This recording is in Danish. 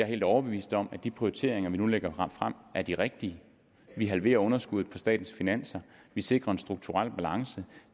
helt overbevist om at de prioriteringer vi nu lægger frem er de rigtige vi halverer underskuddet på statens finanser vi sikrer en strukturel balance